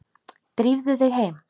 Drífðu þig heim.